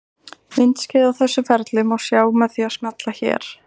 Myndskeið af þessu ferli má sjá með því að smella hér.